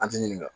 An ti ɲininka